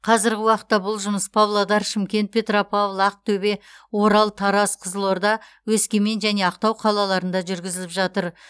қазіргі уақытта бұл жұмыс павлодар шымкент петропавл ақтөбе орал тараз қызылорда өскемен және ақтау қалаларында жүргізіліп жатыр